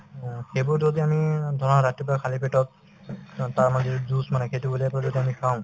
অ, সেইবোৰ যদি আমি ধৰা ৰাতিপুৱা খালী পেটত অ তাৰ মানে যিটো juice মানে সেইটো উলিয়াই পেলাই যদি আমি খাওঁ